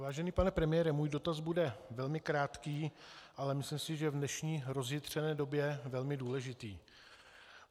Vážený pane premiére, můj dotaz bude velmi krátký, ale myslím si, že v dnešní rozjitřené době velmi důležitý.